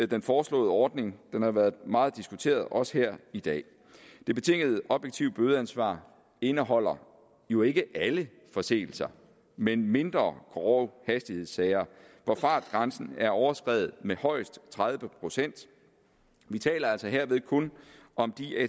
den foreslåede ordning som har været meget diskuteret også her i dag det betingede objektive bødeansvar indeholder jo ikke alle forseelser men mindre grove hastighedssager hvor fartgrænsen er overskredet med højst tredive procent vi taler altså herved kun om